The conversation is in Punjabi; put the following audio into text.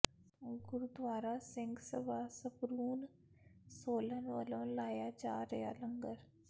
ਗੁਰਦੁਆਰਾ ਸਿੰਘ ਸਭਾ ਸਪਰੂਨ ਸੋਲਨ ਵੱਲੋਂ ਲਾਇਆ ਜਾ ਰਿਹਾ ਲੰਗਰ